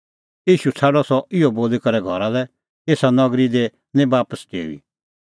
ईशू छ़ाडअ सह इहअ बोली करै घरा लै एसा नगरी दी निं बापस डेऊई